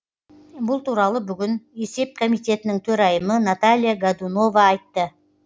бұл туралы бүгін есеп комитетінің төрайымы наталья годунова айтты